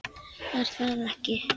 Var það ekki!